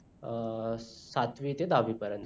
अं सातवी ते दहावी पर्यंत